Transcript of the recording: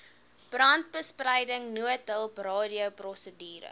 brandbestryding noodhulp radioprosedure